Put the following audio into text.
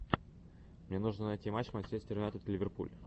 мне нужно найти матч манчестер юнайтед ливерпуль